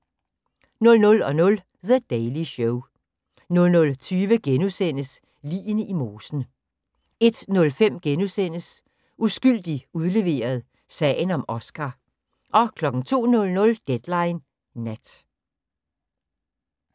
00:00: The Daily Show 00:20: Ligene i mosen * 01:05: Uskyldig udleveret – sagen om Oscar * 02:00: Deadline Nat